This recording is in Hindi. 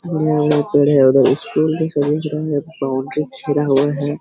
स्कूल के बाउंड्री घिरा हुआ है।